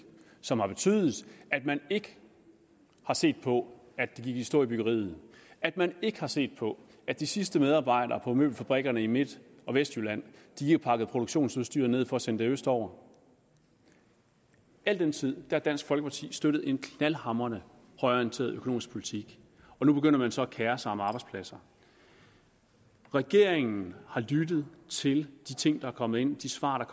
som har betydet at man ikke har set på at det gik i stå i byggeriet at man ikke har set på at de sidste medarbejdere på møbelfabrikkerne i midt og vestjylland har pakket produktionsudstyret ned for at sende det østover al den tid har dansk folkeparti støttet en knaldhamrende højreorienteret økonomisk politik og nu begynder man så at kere sig om arbejdspladser regeringen har lyttet til de ting der er kommet ind de svar der